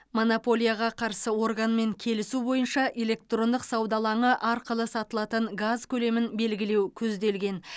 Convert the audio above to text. монополияға қарсы органмен келісу бойынша электрондық сауда алаңы арқылы сатылатын газ көлемін белгілеу көзделген